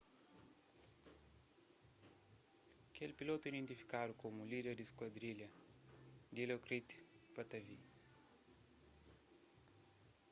kel pilotu identifikadu komu líder di skuadrilha dilokrit pattavee